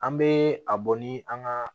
An bɛ a bɔ ni an ka